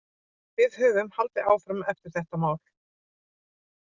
Við höfum haldið áfram eftir þetta mál.